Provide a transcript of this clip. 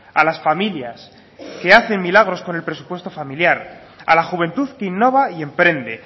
a las familias que hacen milagros con el presupuesto familiar a la juventud que innova y emprende